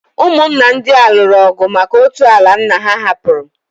Ụmụnna ndị a lụrụ ọgụ maka otu ala nna ha hapụrụ.